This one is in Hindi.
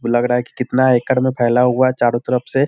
लग रहा है केतना एकड़ में फैला हुआ है चारो तरफ से।